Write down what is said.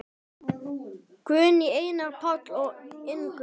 Guðný, Einar, Páll og Ingunn.